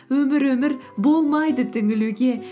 өмір өмір болмайды түңілуге